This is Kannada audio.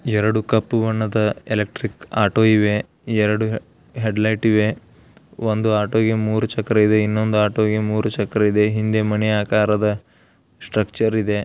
ಎರಡು ಕಪ್ಪು ಬಣ್ಣದ ಎಲೆಕ್ಟ್ರಿಕ್ ಆಟೋ ಇವೆ ಎರಡು ಹೆಅಡಿಲೈಟ್ ಇವೆ ಒಂದು ಆಟೋ ಗೆ ಮೂರು ಚಕ್ರ ಇದೆ ಇನೊಂದ ಆಟೋ ಗೆ ಮೂರು ಚಕ್ರ ಇದೇ ಹಿಂದೆ ಮನೆಯ ಆಕಾರದ ಸ್ಟ್ರಕ್ಚರ್ ಇದೆ.